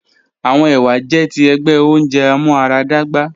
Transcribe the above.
Awọn ewa jẹ ti ẹgbẹ ounjẹ amuaradagba